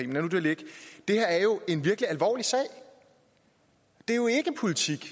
nu det ligge det her er jo en virkelig alvorlig sag det er jo ikke politik